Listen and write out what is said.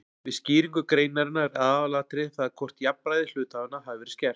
Við skýringu greinarinnar er aðalatriðið það hvort jafnræði hluthafanna hafi verið skert.